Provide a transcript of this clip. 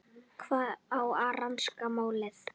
Hver á að rannsaka málið?